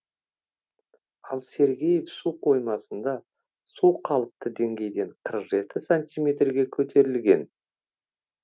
ал сергеев су қоймасында су қалыпты деңгейден қырық жеті сантиметрге көтерілген